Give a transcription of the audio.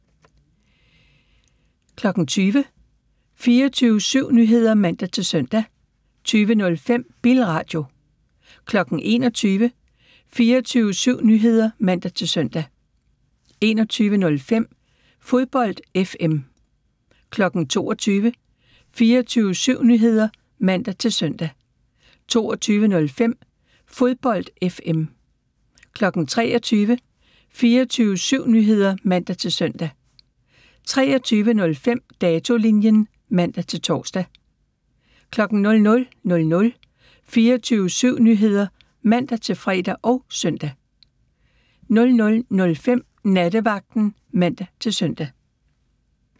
20:00: 24syv Nyheder (man-søn) 20:05: Bilradio 21:00: 24syv Nyheder (man-søn) 21:05: Fodbold FM 22:00: 24syv Nyheder (man-søn) 22:05: Fodbold FM 23:00: 24syv Nyheder (man-søn) 23:05: Datolinjen (man-tor) 00:00: 24syv Nyheder (man-fre og søn) 00:05: Nattevagten (man-søn)